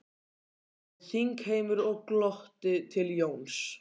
hrópaði þingheimur og glotti til Jóns.